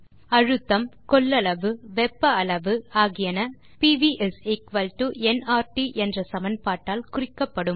அழுத்தம் கொள்ளளவு வெப்ப அளவு ஆகியன பிவி என்ஆர்டி என்ற சமன்பாட்டால் குறிக்கப்படும்